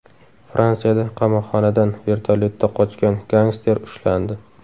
Fransiyada qamoqxonadan vertolyotda qochgan gangster ushlandi.